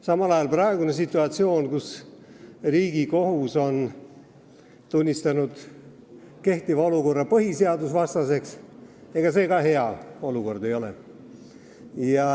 Samal ajal pole praegune situatsioon, kus Riigikohus on valitseva olukorra tunnistanud põhiseadusvastaseks, samuti hea.